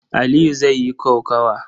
Aliyu zai yi kokawa.